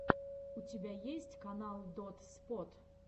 у тебя есть канал дотспот